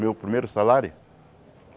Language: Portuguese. Meu primeiro salário?